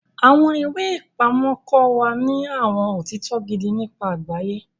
Awọn iwe-ipamọ kọ wa ní awọn otitọ gidi nípa àgbáyé.